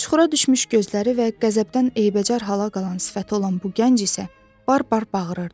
Çuxura düşmüş gözləri və qəzəbdən eybəcər hala qalan sifəti olan bu gənc isə bar-bar bağırırdı.